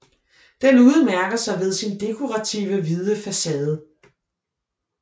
Den udmærker sig ved sin dekoraktive hvide facade